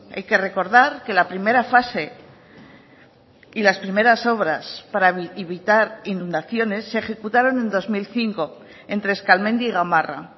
hay que recordar que la primera fase y las primeras obras para evitar inundaciones se ejecutaron en dos mil cinco entre eskalmendi y gamarra